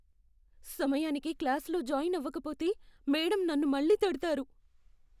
సమయానికి క్లాస్లో జాయిన్ అవకపోతే మేడమ్ నన్ను మళ్లీ తిడతారు.